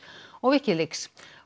og Wikileaks